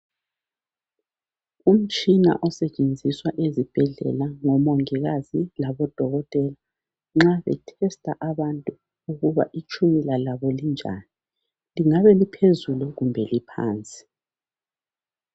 Umtshina osetshenziswa ezibhedlela ngomongikazi laboDokotela. Nxa be testa abantu ukuba itshukela labo linjani. Lingabe liphezulu kumbe liphansi.